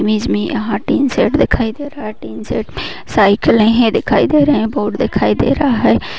Image में यहाँ tin shed दिखाई दे रहा है। टीन शेड में साइकिल हैं। दिखाई दे रहे है। बोर्ड दिखाई दे रहा है।